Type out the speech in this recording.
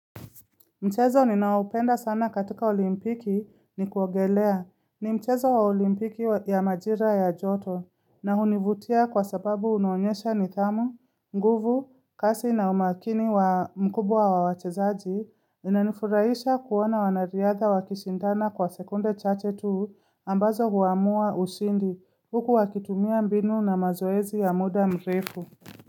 Mchezo ninaupenda sana katika olimpiki ni kuogelea ni mchezo wa olimpiki ya majira ya joto na hunivutia kwa sababu unonyesha nithamu, nguvu, kasi na umakini mkubwa wa wachezaji inanifuraisha kuona wanariadha wa kishindana kwa sekunde chache tu ambazo huamua ushindi huku wakitumia mbinu na mazoezi ya muda mrefu.